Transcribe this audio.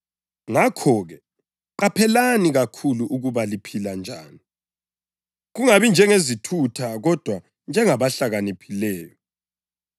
Ngakho-ke, qaphelani kakhulu ukuba liphila njani, kungabi njengezithutha kodwa njengabahlakaniphileyo,